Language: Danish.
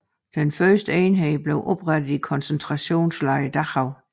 Den første enhed blev oprettet i koncentrationslejren Dachau